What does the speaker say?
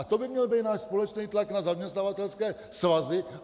A to by měl být náš společný tlak na zaměstnavatelské svazy.